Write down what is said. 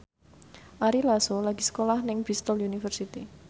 Ari Lasso lagi sekolah nang Bristol university